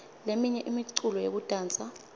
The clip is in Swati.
leminye imiculo yekudansa